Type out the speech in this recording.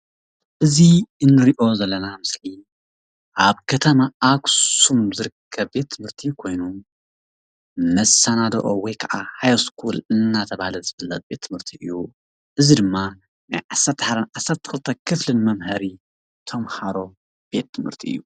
እዚ ንርኦ ዘለና ምስሊ ኣብ ከተማ ኣክሱም ዝርከብ ቤት ትምህርቲ ኮይኑ መሳናድኦ ወይ ከዓ ሃይስኩል እንዳተባሃለ ዝፍለጥ ቤት ትምህርቲ እዩ። እዚ ድማ ናይ ዓሰርተ ሓደ ናይ ዓሰርተ ክልተ ክፍሊ መምሃሪ ተማሃሮ ቤት ትምህርቲ እዩ።